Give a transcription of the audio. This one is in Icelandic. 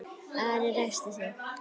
Ari ræskti sig.